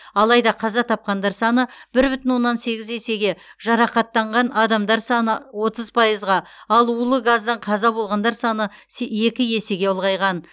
алайда қаза тапқандар саны бір бүтін оннан сегіз есеге жарақаттанған адамдар саны отыз пайызға ал улы газдан қаза болғандар саны се екі есеге ұлғайған